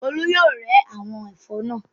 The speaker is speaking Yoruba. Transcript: Olú yóò rẹ́ àwọn ẹ̀fọ́ náà.